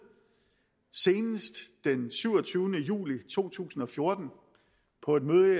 senest den syvogtyvende juli to tusind og fjorten på et møde